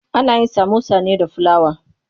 Ana yin samosa ne da fulawa.